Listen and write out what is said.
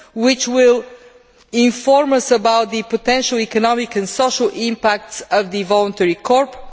which will inform us about the potential economic and social impacts of the voluntary corps.